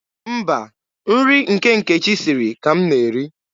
Mba, nri nke Nkechi siri ka m na-eri.